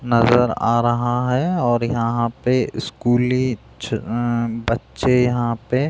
नज़र आ रहा है और यहाँ पे स्कूली अअ बच्चे यहाँ पे --